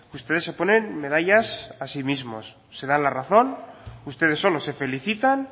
ustedes se ponen medallas a sí mismos se dan la razón ustedes solos se felicitan